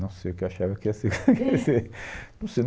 Não sei o que eu achava que ia ser, quer dizer. Não sei.